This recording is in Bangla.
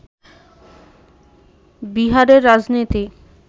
বিহারের রাজনীতিক